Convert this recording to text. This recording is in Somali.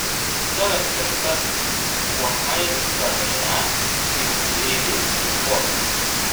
Sannad kasta waxaanu samaynaa dib u eegis rikoodh ah.